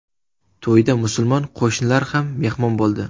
To‘yda musulmon qo‘shnilar ham mehmon bo‘ldi.